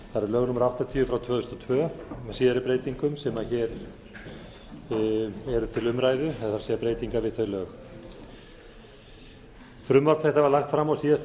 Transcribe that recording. tvö þúsund og tvö með síðari breytingum sem hér eru til umræðu það er breytingar við þau lög frumvarp þetta var lagt fram á síðasta